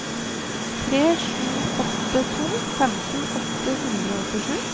tre sju åtte to femten åtte hundre og åttisju